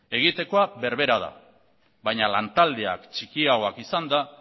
egitekoak berbera da baina lantaldeak txikiagoak izanda